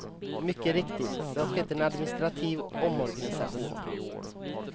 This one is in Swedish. Mycket riktigt, det har skett en administrativ omorganisation.